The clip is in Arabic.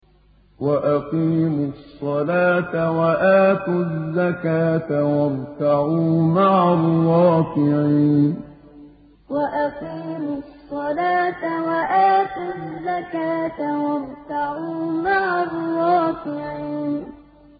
وَأَقِيمُوا الصَّلَاةَ وَآتُوا الزَّكَاةَ وَارْكَعُوا مَعَ الرَّاكِعِينَ وَأَقِيمُوا الصَّلَاةَ وَآتُوا الزَّكَاةَ وَارْكَعُوا مَعَ الرَّاكِعِينَ